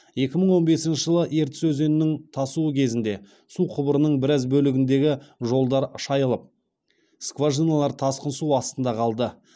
екі мың он бесінші жылы ертіс өзенінің тасуы кезінде су құбырының біраз бөлігіндегі жолдар шайылып скважиналар тасқын су астында қалды